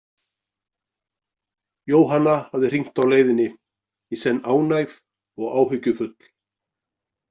Jóhanna hafði hringt á leiðinni, í senn ánægð og áhyggjufull.